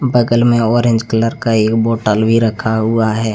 बगल मे orange colour का एक बॉटल भी रखा हुआ है।